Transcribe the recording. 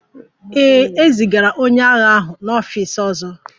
Ee, e zigara onye agha ahụ n'ọfịs ọzọ